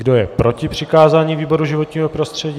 Kdo je proti přikázání výboru životního prostředí?